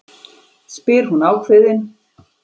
spyr hún ákveðin.